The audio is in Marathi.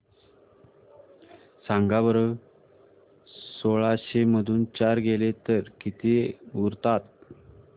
सांगा बरं सोळाशे मधून चार गेले तर किती उरतात